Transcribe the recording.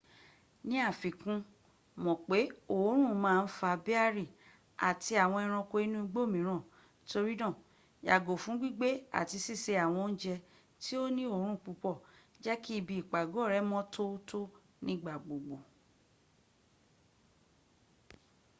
ní àfikún mọ̀ pé òórùn ma ń fa béárì àti àwọn ęranko inú igbó mìíràn torínáà yàgò fún gbígbé tàbi síse àwọn oúnjẹ́ tí ó ní òrùn púpọ̀ jẹ́kí ibi ìpàgọ́ rẹ mọ́ tótó nígbàgbogbo